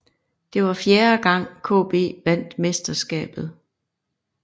Det var fjerde gang KB vandt mesterskabet